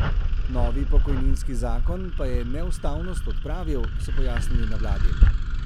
Novi pokojninski zakon pa je neustavnost odpravil, so pojasnili na vladi.